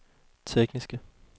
tekniske